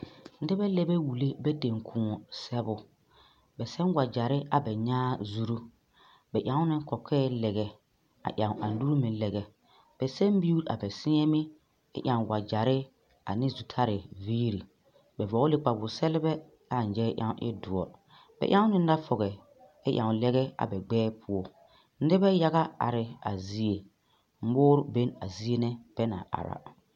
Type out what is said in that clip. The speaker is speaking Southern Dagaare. Nobɛ la bɛ wulle bɛ tenkoɔ sɛgbo ba sɛ wagyɛre a ba nyaa zuru ba eŋno kɔkɔɛ lɛgɛ a eŋ a nuuri meŋ lɛgɛ ba seɛ miru a ba seɛ meŋ kyɛ eŋ wagyɛre ane zutari viiri ba vɔglene kpawosɛglebɛ ɛ a nyaa ɛŋ eŋ doɔre ba eŋne nafɔgɛ ɛ eŋ lɛgɛ a ba gbɛɛ poɔ nobɛ yage are a zie moore beŋ a zie na bɛ naŋ are a.